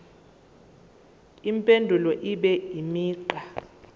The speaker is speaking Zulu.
impendulo ibe imigqa